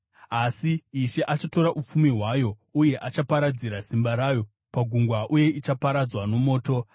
Asi Ishe achatora upfumi hwayo uye achaparadzira simba rayo pagungwa, uye ichaparadzwa nomoto.